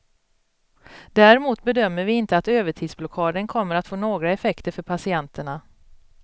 Däremot bedömer vi inte att övertidsblockaden kommer att få några effekter för patienterna.